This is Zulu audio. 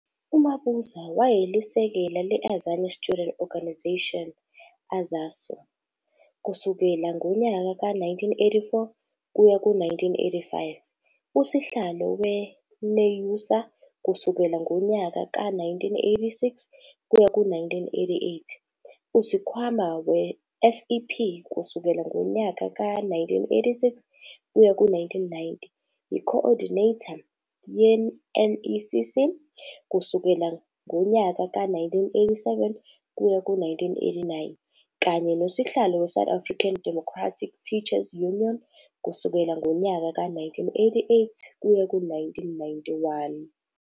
UMabuza wayelisekela le Azania Student Organisation, AZASO, kusukela ngonyaka ka-1984 kuya ku-1985, usihlalo we NEUSA kusukela ngonyaka ka-1986 kuya ku-1988, usikhwama we-FEP kusukela ngonyaka ka-1986 kuya ku-1990, yi co-ordinator ye-NECC kusukela ngonyaka ka-1987 kuya ku-1989, kanye nosihlalo we-South African Democratic Teachers Union kusukela ngonyaka ka-1988 kuya ku-1991.